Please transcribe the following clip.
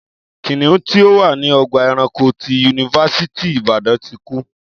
Kìnìún tí ó wà ní ọgbà ẹranko ti yunifásítì Ìbàdàn ti kú